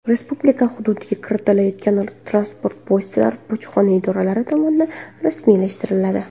Respublika hududiga kiritilayotgan transport vositalari bojxona idoralari tomonidan rasmiylashtiriladi.